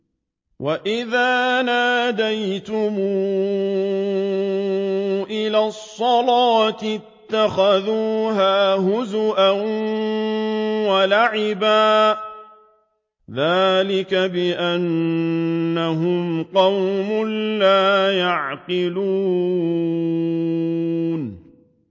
وَإِذَا نَادَيْتُمْ إِلَى الصَّلَاةِ اتَّخَذُوهَا هُزُوًا وَلَعِبًا ۚ ذَٰلِكَ بِأَنَّهُمْ قَوْمٌ لَّا يَعْقِلُونَ